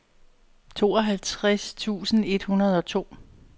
tooghalvtreds tusind et hundrede og to